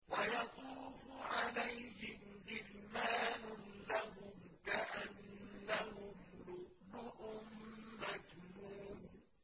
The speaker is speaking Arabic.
۞ وَيَطُوفُ عَلَيْهِمْ غِلْمَانٌ لَّهُمْ كَأَنَّهُمْ لُؤْلُؤٌ مَّكْنُونٌ